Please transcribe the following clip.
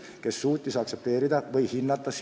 Ta pidi suutma sinu tööd hinnata.